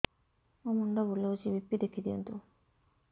ମୋର ମୁଣ୍ଡ ବୁଲେଛି ବି.ପି ଦେଖି ଦିଅନ୍ତୁ